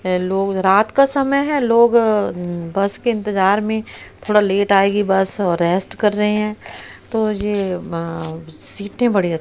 hello रात का समय है लोग उम्म बस के इंतजार में थोड़ा लेट आएगी बस और रेस्ट कर रहे हैं तो ये अह सीटें बड़ी--